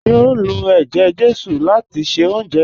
Ṣe o n lọ̀ èjè-jésù láti ṣẹ ọ̀unjẹ?